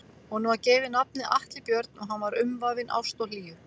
Honum var gefið nafnið Atli Björn og hann var umvafinn ást og hlýju.